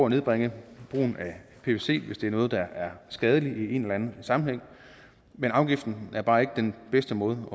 at nedbringe brugen af pvc hvis det er noget der er skadeligt i en eller anden sammenhæng men afgiften er bare ikke den bedste måde